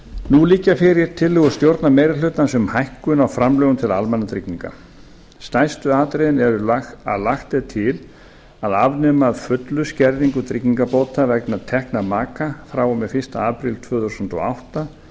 nú liggja fyrir tillögur stjórnarmeirihlutans um hækkun á framlögum til almannatrygginga stærstu atriðin eru að lagt er til að afnema að fullu skerðingu tryggingabóta vegna tekna maka frá og með fyrsta apríl tvö þúsund og átta